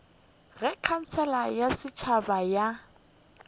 ge khansele ya setšhaba ya